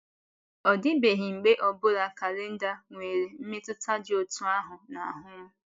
Ọ dịbeghị mgbe ọ bụla kalenda nwere mmetụta dị otú ahụ n’ahụ́ m.